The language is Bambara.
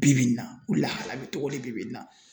Bi bi in na u lahala bɛ cogodi bi bi in na?